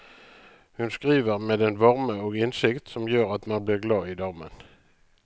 Hun skriver med en varme og innsikt som gjør at man blir glad i damen.